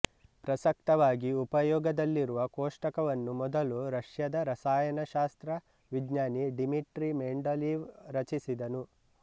ಪ್ರಸಕ್ತವಾಗಿ ಉಪಯೋಗದಲ್ಲಿರುವ ಕೋಷ್ಟಕವನ್ನು ಮೊದಲು ರಷ್ಯಾದ ರಸಾಯನಶಾಸ್ತ್ರ ವಿಜ್ಞಾನಿ ಡಿಮಿಟ್ರಿ ಮೆಂಡಲೀವ್ ರಚಿಸಿದನು